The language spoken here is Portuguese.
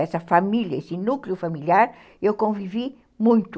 Essa família, esse núcleo familiar, eu convivi muito.